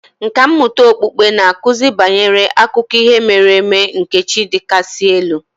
Nkà mmụta okpukpe na-akụzi banyere akụkọ ihe mere eme nke chi ndị kasị elu